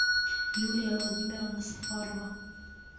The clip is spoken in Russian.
юлия владимировна сафарова